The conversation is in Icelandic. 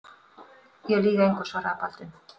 Ég lýg engu, svaraði Baldvin.